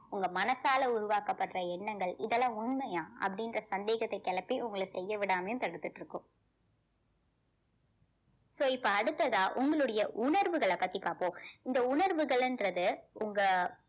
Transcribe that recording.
உங்க மனசால உருவாக்கப்படுற எண்ணங்கள் இதெல்லாம் உண்மையா அப்படின்ற சந்தேகத்தை கிளப்பி உங்களை செய்ய விடாமையும் தடுத்துட்டு இருக்கும் so இப்ப அடுத்ததா உங்களுடைய உணர்வுகளை பத்தி பார்ப்போம் இந்த உணர்வுகளுன்றது உங்க